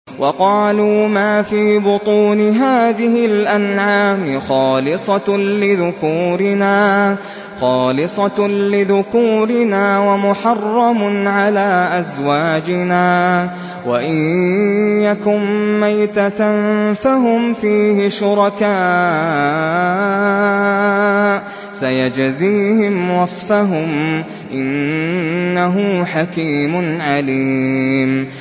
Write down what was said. وَقَالُوا مَا فِي بُطُونِ هَٰذِهِ الْأَنْعَامِ خَالِصَةٌ لِّذُكُورِنَا وَمُحَرَّمٌ عَلَىٰ أَزْوَاجِنَا ۖ وَإِن يَكُن مَّيْتَةً فَهُمْ فِيهِ شُرَكَاءُ ۚ سَيَجْزِيهِمْ وَصْفَهُمْ ۚ إِنَّهُ حَكِيمٌ عَلِيمٌ